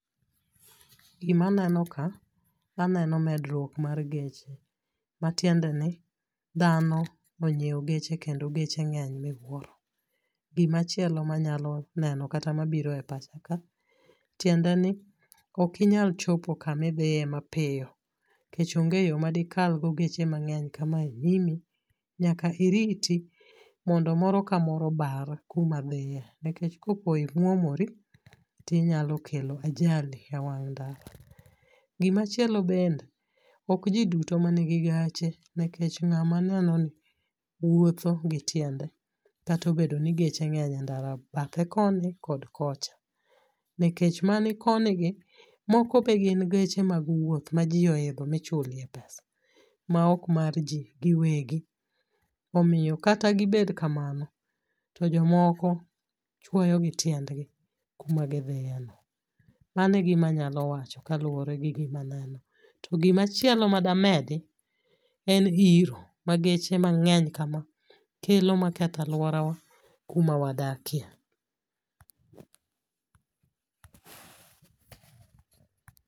Gima neno ka aneno medruok mar geche, matiende ni dhano onyiewo geche kendo geche ng'eny miwuoro. Gima chielo manyalo neno kata mabiro e pacha ka tiende ni ok inyal chopo kamidhiye mapiyo nikech onge yoo madikal go geche mang'eny kamae nyimi nyaka iriti mondo mondo ka moro obar kuma dhiye nikech kapo imuomori inyalo kelo ajali e wang' ndara. Gimachielo bende ok jii duto manigi gache nikech ng'ama ineno ni wuotho gi tiende kato bedo ni geche ng'eny e ndara bathe koni kod kocha nikech mani koni gi moko be gin geche mag wuoth ma jii odhidho ma ichulie pesa ma ok mag jii giwegi. Omiyo kata gibed kamano to jomoko chuoyo gi tiendgi kuma gidhiye no. Mane gimanyalo wacho kaluwore gi gima neno. To gimachielo mada medi en iro ma geche mang'egy kama kelo ma ketho aluorawa kuma wadakie